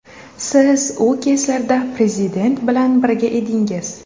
Siz u kezlarda Prezident bilan birga edingiz.